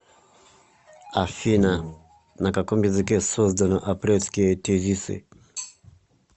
афина на каком языке создано апрельские тезисы